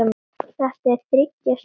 Þetta er þriggja stjörnu hótel.